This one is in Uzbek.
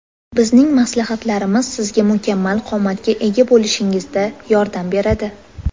Bizning maslahatlarimiz sizga mukammal qomatga ega bo‘lishingizda yordam beradi.